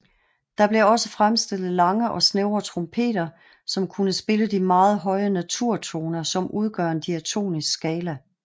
Der blev også fremstillet lange og snævre trompeter som kunne spille de meget høje naturtoner som udgør en Diatonisk skala